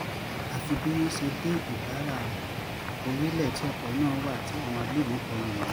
àfi bí wọ́n ṣe dé ìbára-orílẹ̀ tí ọkọ̀ náà wà tí àwọn agbébọ̀n kọ lù wọ́n